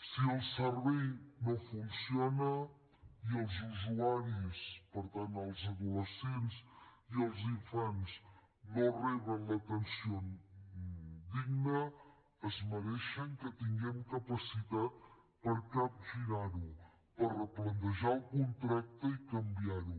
si el servei no funciona i els usuaris per tant els adolescents i els infants no reben l’atenció digna es mereixen que tinguem capacitat per capgirar ho per replantejar el contracte i canviar ho